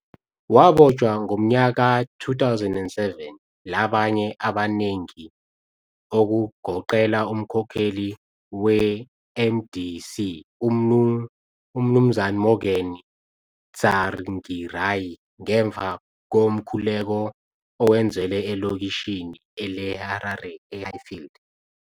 Wabotshwa ngomnyaka ka-2007 labanye abanengi okugoqela umkhokheli weMDC uMnu Morgan Tsvangirai ngemva komkhuleko owenzelwe elokitshini leHarare eHighfield.